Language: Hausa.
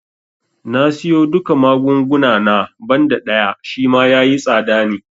Na siyo duka magunguna na, banda ɗaya Shima yayi tsada ne